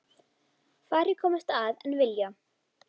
Færri komast að en vilja.